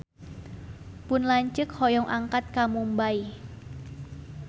Pun lanceuk hoyong angkat ka Mumbay